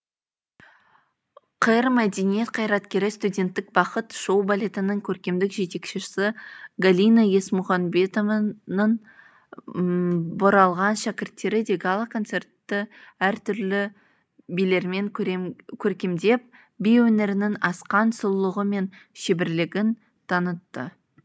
қр мәдениет қайраткері студенттік бахыт шоу балетінің көркемдік жетекшісі галина есмұханбетованың бұралған шәкірттері де гала концертті әртүрлі билермен көркемдеп би өнерінің асқан сұлулығы мен шеберлігін танытты